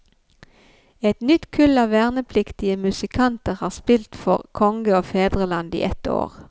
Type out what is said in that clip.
Et nytt kull av vernepliktige musikanter har spilt for konge og fedreland i ett år.